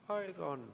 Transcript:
Aega on.